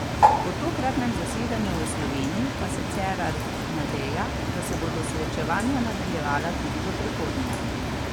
Po tokratnem zasedanju v Sloveniji pa se Cerar nadeja, da se bodo srečavanja nadaljevala tudi v prihodnje.